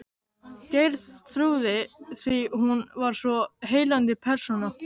Geirþrúði, því hún var svo heillandi persóna.